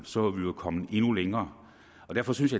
så var vi jo kommet endnu længere derfor synes